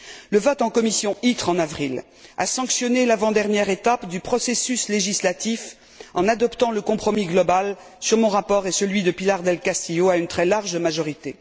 La commission ITRE, en avril, a sanctionné l'avant dernière étape du processus législatif, en adoptant le compromis global sur mon rapport et celui de Pilar del Castillo à une très large majorité.